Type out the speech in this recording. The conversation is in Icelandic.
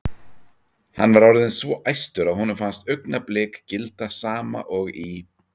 Hann var orðinn svo æstur að honum fannst augnablik gilda sama og í